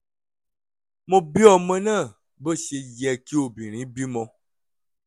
mo bí ọmọ náà bó ṣe yẹ kí obìnrin bímọ